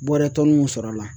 Bɔrɛ tɔnni mun sɔrɔ a la